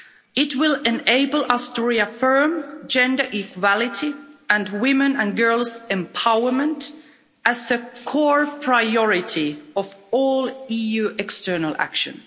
It will enable us to reaffirm gender equality and women's and girls' empowerment as a core priority of all EU External Action.